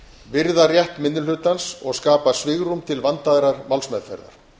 virða rétt minni hlutans og skapa svigrúm til vandaðrar málsmeðferðar